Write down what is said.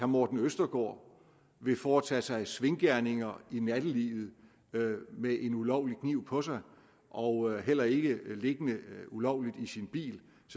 morten østergaard vil foretage sig svinkeærinder i nattelivet med en ulovlig kniv på sig og heller ikke have en liggende ulovligt i sin bil